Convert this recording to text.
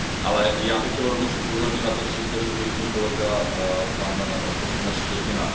Ale já bych chtěl rovněž upozornit na to, co zde řekl již můj kolega pan poslanec Štětina.